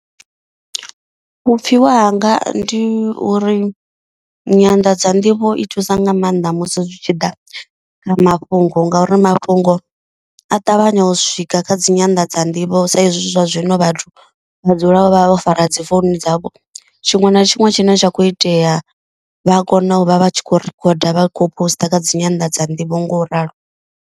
Vhupfiwa hanga ndi uri nyanḓadza nḓivho i thusa nga maanḓa musi zwi tshi ḓa kha mafhungo. Ngauri mafhungo a ṱavhanya u swika kha dzi nyanḓadza nḓivho sa izwi zwa zwino vhathu vha dzula vho vha vho fara dzi founu dzavho. Tshiṅwe na tshiṅwe tshine tsha kho itea vha a kona u vha vha tshi khou rikhoda vha khou poster kha dzi nyanḓadza nḓivho nga u ralo.